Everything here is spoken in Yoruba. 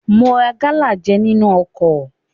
Mo ra gálà jẹ nínú ọkọ̀.